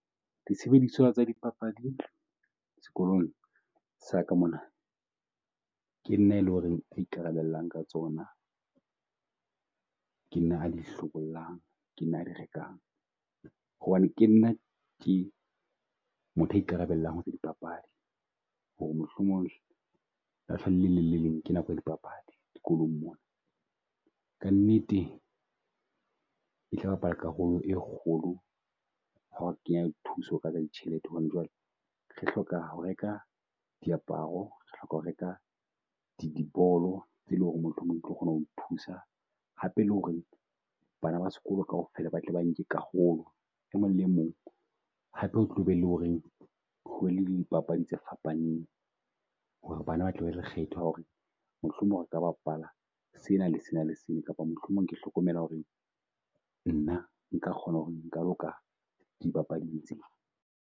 Disebediswa tsa di papadi sekolong sa ka mona ke nna a e leng ho reng a ikarabellang ka tsona. Ke nna a di a di hlobollang, ke nna a di rekang hobane ke nna ke motho a ikarabellang tsa dipapadi ho re mohlomong le leng le le leng ke nako ya dipapadi dikolong mona. Ka nnete etla bapala karolo e kgolo ha o kenya di thuso ka ditjhelete hobane jwale re hloka ho reka diaparo, re hloka ho reka di di bolo tse leng ho re mohlomong tlo kgona ho thusa hape le ho re bana ba sekolo kaofela ba tle ba nke karolo. E mong le mong hape o tlo be le ho reng ho le di papadi tse fapaneng ho re bana ba tla be le kgetho ya ho re mohlomong re ka bapala sena le sena le sena. Kapa mohlomong ke hlokomela ho re nna nka kgona ho re nka loka di bapading tsena.